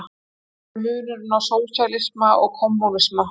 Hver er munurinn á sósíalisma og kommúnisma?